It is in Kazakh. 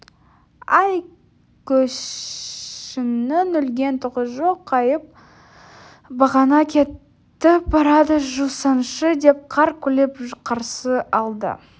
әй көршіңнің өлген түгі жоқ қайқайып бағана кетіп барады жусаңшы деп қарқ күліп қарсы алды